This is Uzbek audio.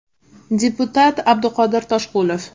Deputat Abduqodir Toshqulov.